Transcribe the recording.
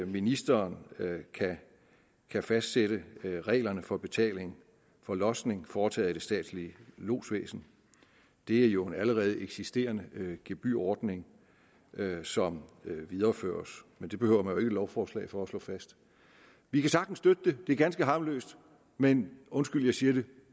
ministeren kan fastsætte reglerne for betaling for lodsning foretaget af det statslige lodsvæsen det er jo en allerede eksisterende gebyrordning som videreføres og det behøver ikke et lovforslag for at slå fast vi kan sagtens støtte forslaget det er ganske harmløst men undskyld jeg siger det